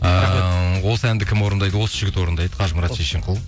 ыыы осы әнді кім орындайды осі жігіт орындайды қажымұрат шешенқұл